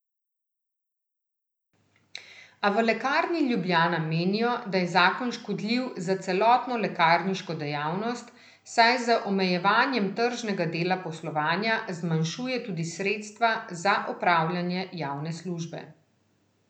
A v Lekarni Ljubljana menijo, da je zakon škodljiv za celotno lekarniško dejavnost, saj z omejevanjem tržnega dela poslovanja zmanjšuje tudi sredstva za opravljanje javne službe.